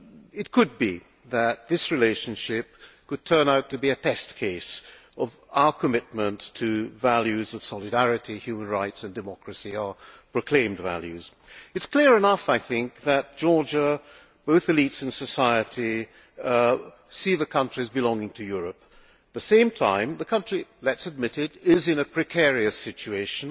It could be that this relationship could turn out to be a test case of our commitment to values of solidarity, human rights and democracy our proclaimed values. It is clear enough that Georgia both the elites and society see the country as belonging to Europe. At the same time that country let us admit it is in a precarious situation,